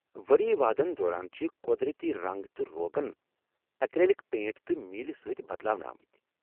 ؤری وادن دوران چھِ قۄدرتی رنگ تہٕ روغن ایکر٘لِک پینٹ تہٕ میٖلہِ سۭتۍ بدلاونہٕ آمٕتۍ ۔